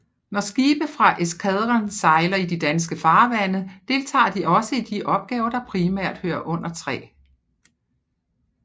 Når skibe fra eskadren sejler i de danske farvande deltager de også i de opgaver der primært hører under 3